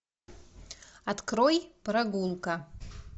открой прогулка